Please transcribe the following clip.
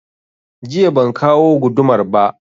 Jiya ban kawo gudumar ba